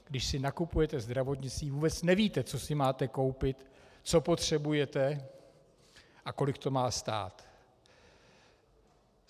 Když si nakupujete zdravotnictví, vůbec nevíte, co si máte koupit, co potřebujete a kolik to má stát.